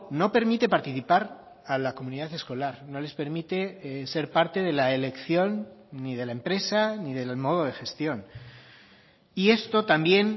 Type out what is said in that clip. no permite participar a la comunidad escolar no les permite ser parte de la elección ni de la empresa ni del modo de gestión y esto también